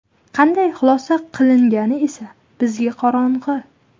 Qanday xulosa qilingani esa bizga qorong‘i.